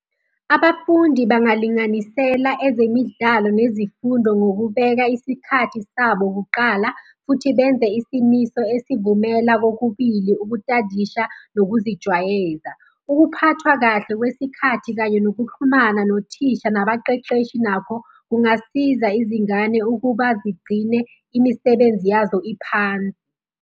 Abafundi bangalinganisela ezemidlalo nezifundo ngokubeka isikhathi sabo kuqala, futhi benze isimiso esivumela kokubili, ukutadisha nokuzijwayeza. Ukuphathwa kahle kwesikhathi kanye nokuxhumana nothisha nabaqeqeshi nakho kungasiza izingane ukuba zigcine imisebenzi yazo iphansi.